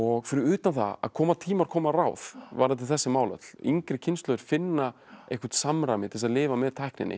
fyrir utan það að koma tímar koma ráð varðandi þessi mál öll yngri kynslóðir finna eitthvert samræmi til þess að lifa með tækninni